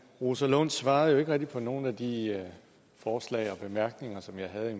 rosa lund svarede jo ikke rigtig på nogen af de forslag og bemærkninger som jeg havde